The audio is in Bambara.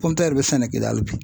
bɛ sɛnɛ KIDALI bi .